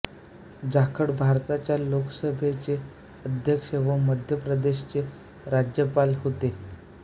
जाखड भारताच्या लोकसभेचे अध्यक्ष व मध्य प्रदेशचे राज्यपाल होते